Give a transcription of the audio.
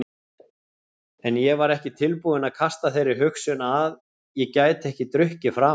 En ég var ekki tilbúinn að kasta þeirri hugsun að ég gæti ekki drukkið framar.